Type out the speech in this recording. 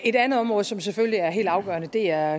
et andet område som selvfølgelig er helt afgørende er